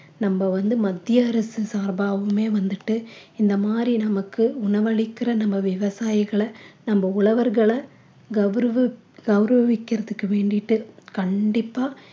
நம்ம வந்து மத்திய அரசு சார்பாவுமே வந்துட்டு இந்த மாதிரி நமக்கு உணவளிக்கிற நம்ம விவசாயிகள நம்ம உழவர்கள கௌரவ~ கௌரவிக்கறதுக்கு வேண்டிட்டு கண்டிப்பா